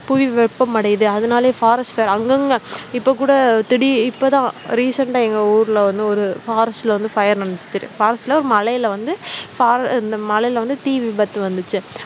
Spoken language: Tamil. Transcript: புவி வெப்பமடையுது அதனாலயே forest fire அங்கங்க இப்ப கூட திடி இப்ப தான் recent ஆ எங்க ஊர்ல வந்து ஒரு forest ல வந்து fire forest ல ஒரு மலையில வந்து for இந்த மலையில வந்து தீ விபத்து வந்துச்சு